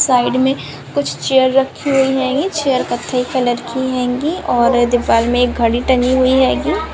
side में कुछ chair रखी हुई हैंगी यह चेयर कथई कलर की हैगी और दिवाल में एक घड़ी टंगी हुई हैगी--